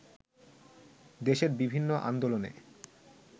দেশের বিভিন্ন আন্দোলনে